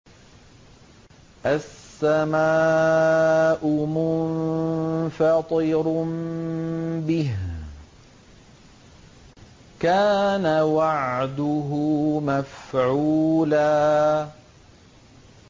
السَّمَاءُ مُنفَطِرٌ بِهِ ۚ كَانَ وَعْدُهُ مَفْعُولًا